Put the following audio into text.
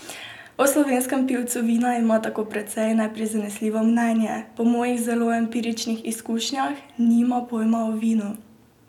O slovenskem pivcu vina ima tako precej neprizanesljivo mnenje: "Po mojih zelo empiričnih izkušnjah nima pojma o vinu.